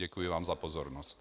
Děkuji vám za pozornost.